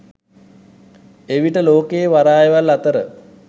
එවිට ලෝකයේ වරායවල් අතර